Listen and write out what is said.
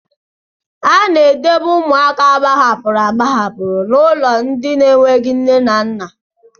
A na-edobe ụmụaka agbahapụrụ agbahapụ na ụlọ ndị enweghị nne na nna.